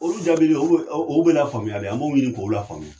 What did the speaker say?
Olu jaabili olu o o bɛ la faamuya dɛ an b'o ɲini k'o la faamuya.